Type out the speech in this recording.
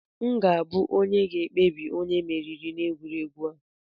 M ga-abụ onye ga-ekpebi onye meriri n'egwuregwu a!